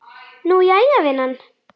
Nú, jæja, vinan.